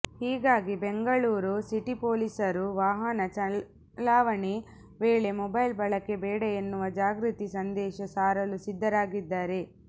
ಹೀಗಾಗಿ ಬೆಂಗಳೂರು ಸಿಟಿ ಪೊಲೀಸರು ವಾಹನ ಚಲಾವಣೆ ವೇಳೆ ಮೊಬೈಲ್ ಬಳಕೆ ಬೇಡ ಎನ್ನುವ ಜಾಗೃತಿ ಸಂದೇಶ ಸಾರಲು ಸಿದ್ಧರಾಗಿದ್ದಾರೆ